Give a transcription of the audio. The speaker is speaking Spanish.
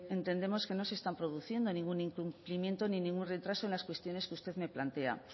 entendemos que no se está produciendo ningún incumplimiento ni ningún retraso en las cuestiones que usted me plantea